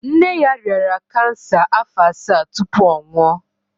Nne ya rịara cancer afọ assa tupu ọ nwụọ.